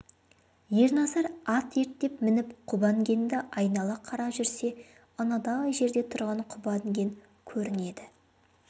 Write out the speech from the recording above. ерназар ат ерттеп мініп құба інгенді айнала қарап жүрсе анадай жерде тұрған құба інген көрінеді